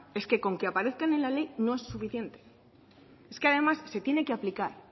con que aparezcan en la ley no es suficiente es que además se tiene que aplicar